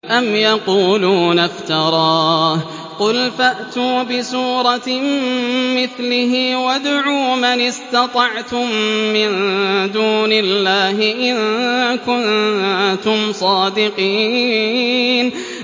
أَمْ يَقُولُونَ افْتَرَاهُ ۖ قُلْ فَأْتُوا بِسُورَةٍ مِّثْلِهِ وَادْعُوا مَنِ اسْتَطَعْتُم مِّن دُونِ اللَّهِ إِن كُنتُمْ صَادِقِينَ